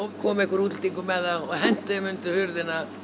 kom einhver útlendingur með þær og henti þeim undir hurðina